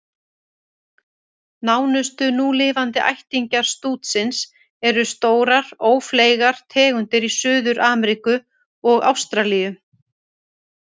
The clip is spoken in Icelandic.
Nánustu núlifandi ættingjar stútsins eru stórar, ófleygar tegundir í Suður-Ameríku og Ástralíu.